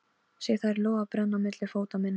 Sé þær loga og brenna milli fóta minna.